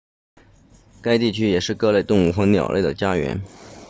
该地区也是各类动物和鸟类的家园